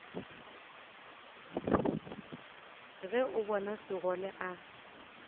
ge o bona sekgole a